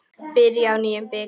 Byrjar á nýjum bikar.